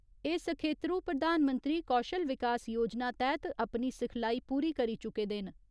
एह् सखेत्रु प्रधानमंत्री कौशल विकास योजना तैह्त अपनी सिखलाई पूरी करी चुके दे न।